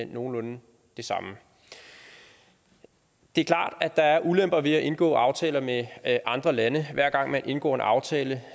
nogenlunde de samme det er klart at der er ulemper ved at indgå aftaler med andre lande hver gang man indgår en aftale